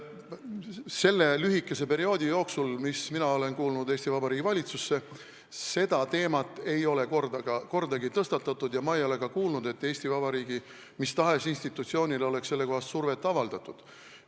Selle lühikese perioodi jooksul, kui mina olen kuulunud Eesti Vabariigi valitsusse, ei ole seda teemat kordagi tõstatatud ja ma ei ole ka kuulnud, et Eesti Vabariigi mis tahes institutsioonile oleks sellekohast survet avaldatud.